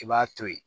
I b'a to ye